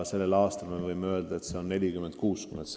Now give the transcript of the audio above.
Tänavu võime öelda, et see suhe on 40 : 60.